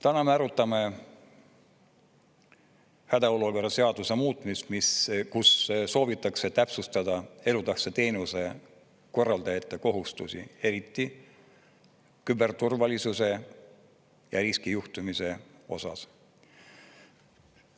Täna me arutame hädaolukorra seaduse muutmist, kus soovitakse täpsustada elutähtsa teenuse korraldajate kohustusi, eriti küberturvalisuse ja riskijuhtimise osas.